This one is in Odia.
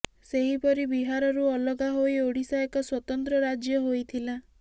ସେହିପରି ବିହାରରୁ ଅଲଗା ହୋଇ ଓଡ଼ିଶା ଏକ ସ୍ୱତନ୍ତ୍ର ରାଜ୍ୟ ହୋଇଥିଲା